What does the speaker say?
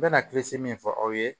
N bɛna min fɔ aw ye